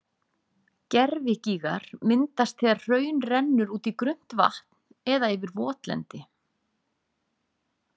Gervigígar myndast þegar hraun rennur út í grunnt vatn eða yfir votlendi.